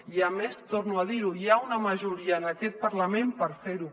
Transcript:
i a més torno a dir ho hi ha una majoria en aquest parlament per fer ho